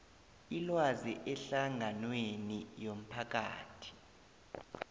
ilwazi ehlanganweni yomphakathi